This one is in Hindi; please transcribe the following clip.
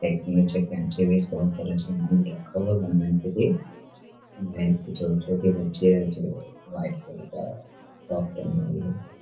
एक नीचे भी एक बहुत बड़ा समान रखा हुआ है भगवान के लिए यहाँ पे एक छोटी बच्ची है जो वाइट कलर का टॉप पहने हुए है।